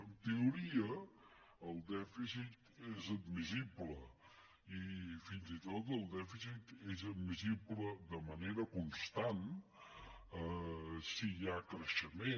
en teoria el dèficit és admissible i fins i tot el dèficit és admissible de manera constant si hi ha creixement